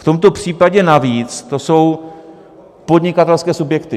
V tomto případě navíc to jsou podnikatelské subjekty.